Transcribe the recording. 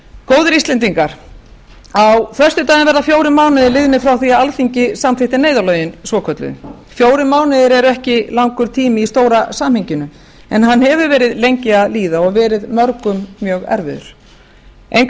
góðir íslendingar á föstudaginn verða fjórir mánuðir liðnir frá því að alþingi samþykkti neyðarlögin svokölluðu fjórir mánuðir eru ekki langur tími í stóra samhenginu en hann hefur verið lengi að líða og verið mörgum mjög erfiður engu að